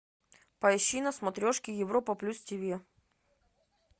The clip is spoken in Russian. поищи на смотрешке европа плюс ти ви